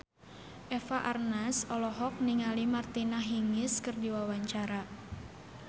Eva Arnaz olohok ningali Martina Hingis keur diwawancara